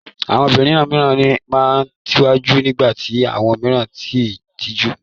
Àwọn obìnrin mìíràn máa ń tijú nígbà tí àwọn mìíràn kì í tijú.